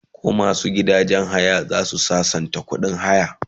koh masu gidajen haya zasu sassauta ƙuɗin haya?